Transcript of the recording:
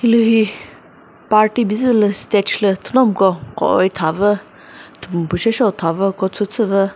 hilühi party bizüvü lü stage lü thünomiko koi thavü thüpumi shi seo thavü coat suit süvü.